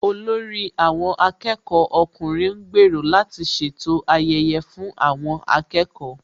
Olórí àwọn akẹ́kọ̀ọ́ ọkùnrin ń gbèrò láti ṣètò ayẹyẹ fún àwọn akẹ́kọ̀ọ́